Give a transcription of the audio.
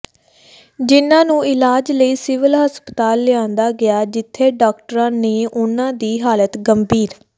ਜਿਨ੍ਹਾਂ ਨੂੰ ਇਲਾਜ ਲਈ ਸਿਵਲ ਹਸਪਤਾਲ ਲਿਆਂਦਾ ਗਿਆ ਜਿਥੇ ਡਾਕਟਰਾਂ ਨੇ ਉਨ੍ਹਾਂ ਦੀ ਹਾਲਤ ਗੰ